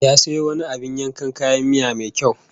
Ya sayo wani abin yankan kayan miya mai kyau